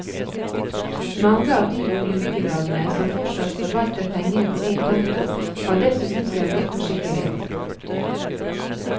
Mange av de boligbyggelagene som fortsatt forvalter pengene på én konto, har dessuten sørget for sikkerhet.